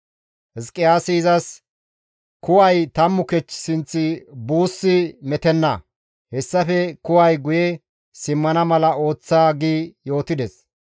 Hizqiyaasi izas, «Kuway 10 kech sinth buussi metenna; hessafe kuway guye simmana mala ooththa» gi yootides.